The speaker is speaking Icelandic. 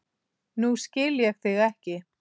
Nú skil ég þig ekki.